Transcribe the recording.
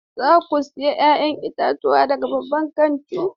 Za ku sayi 'ya'yan itatuwa daga babban kantin?